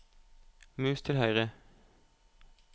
mus til høyre